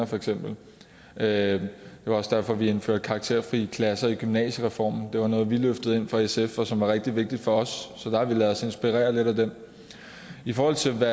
for eksempel med karakterfri det var også derfor at vi indførte karakterfri klasser i gymnasiereformen det var noget vi løftede ind fra sf og som var rigtig vigtigt for os så der har vi ladet os inspirere lidt af dem i forhold til hvad